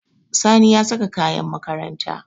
Sani ya saka kayan makaranta.